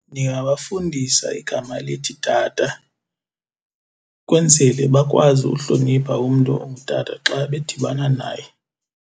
Ndingabafundisa igama elithi tata kwenzele bakwazi uhlonipha umntu ongutata xa bedibana naye.